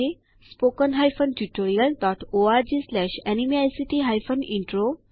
spoken hyphen tutorial dot org slash NMEICT hyphen intro